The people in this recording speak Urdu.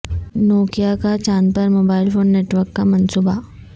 نوکیا کا چاند پر موبائل فون نیٹ ورک کا منصوبہ